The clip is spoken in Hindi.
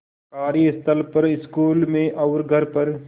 कार्यस्थल पर स्कूल में और घर पर